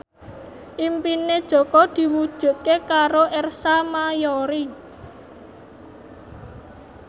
impine Jaka diwujudke karo Ersa Mayori